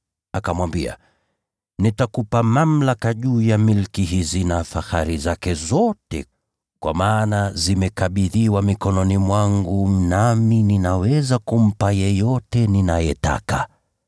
Akamwambia, “Nitakupa mamlaka juu ya milki hizi na fahari zake zote, kwa maana zimekabidhiwa mkononi mwangu nami ninaweza kumpa yeyote ninayetaka.